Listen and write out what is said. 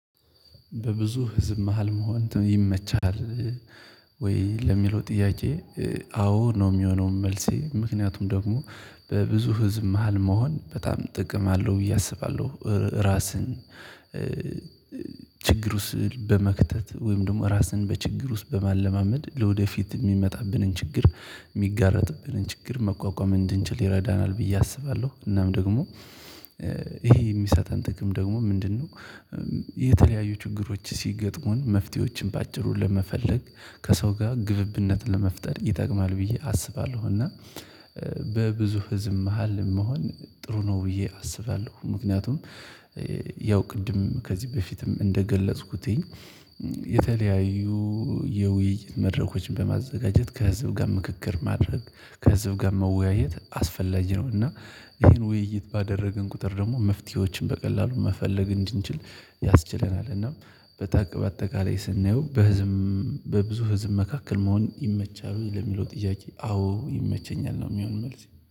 በብዙ ህዝብ መሃል መሆን ይመቻል ወይ ለሚለው ጥያቄ? አዎ ነው የሚሆነው መልሴ ምክንያቱም ደግሞ በብዙ ህዝብ መሃል መሆን በጣም ጥቅም አለው ብዬ አስባለሁ። ራስን ችግሩ ስዕል በመክተት ወይም ደግሞ ራስን በችግር ውስጥ በማለማመድ ለወደፊት የሚመጣብንን ችግር የሚጋረጥብንን ችግር መቋቋም እንድንችል ይረዳናል ብዬ አስባለሁ እናም ደግሞ ይሄ የሚሳጠን ጥቅም ደግሞ ምንድነው? የተለያዩ ችግሮች ሲገጥሙን መፍትሄዎችን በአጭሩ ለመፈለግ ከሰው ጋር ግብብነትን ለመፍጠር ይጠቅማል ብዬ አስባለሁ። እና በብዙ ህዝብ መሃል መሆን ጥሩ ነው ብዬ አስባለሁ። ምክንያቱም ያው ቅድም ከዚህ በፊትም እንደገለጽኩት የተለያዩ የውይይት መድረኮችን በማዘጋጀት ከህዝብ ጋር ምክክር ማድረግ ከህዝብ ጋር መወያየት አስፈላጊ ነው። እና ይሄን ውይይት ባደረግን ቁጥር ደግሞ መፍትሄዎችን በቀላሉ መፈለግ እንድንችል ያስችለናል። እናም በታቅ በአጠቃላይ ስናየው በህዝብ በብዙ ህዝብ መካከል መሆን ይመቸሃል ወይ ለሚለው ጥያቄ? አዎ ይመቸኛል ነው የሚሆነው መልሴ